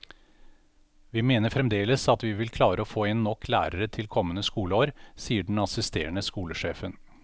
Vi mener fremdeles at vi vil klare å få inn nok lærere til kommende skoleår, sier den assisterende skolesjefen.